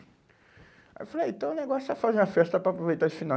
Aí eu falei, então o negócio é fazer uma festa para aproveitar esse final.